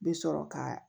Bɛ sɔrɔ ka